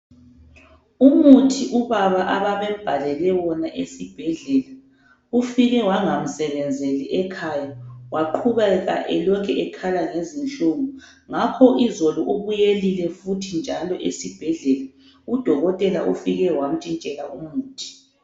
Umuthi ubaba ababembhalele wona ufike wangamsebenzeli ekhaya waqhubeka elokhe ekhala ngezinhlungu. Ngakho izolo ubuyelile futhi njalo esibhedlela. UDokotela ufike wamtshintshela umuthi.